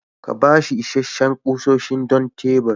Ka ba shi isasshen kusoshi don tebur.